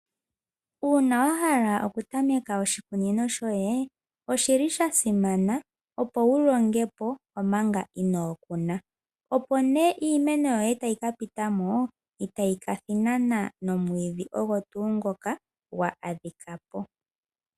Uuna wa hala okutameka oshikunino shoye oshi li sha simana opo wu longe po omanga inoo kuna. Opo nee iimeno yoye sho tayi ka pita mo itayi thinana nomwiidhi ogo tuu ngoka gwa adhika po.